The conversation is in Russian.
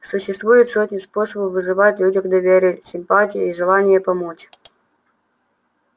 существуют сотни способов вызывать в людях доверие симпатию и желание помочь